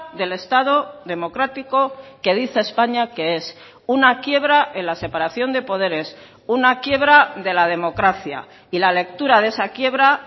del estado democrático que dice españa que es una quiebra en la separación de poderes una quiebra de la democracia y la lectura de esa quiebra